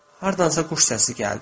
Hardansa quş səsi gəldi.